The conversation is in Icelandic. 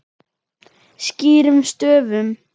Skýrum stöfum.